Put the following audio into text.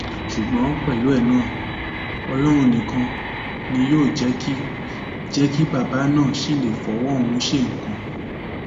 ṣùgbọn pẹlú ẹ náà ọlọrun nìkan ni yóò jẹ kí jẹ kí bàbá náà ṣì lè fọwọ ọhún ṣe nǹkan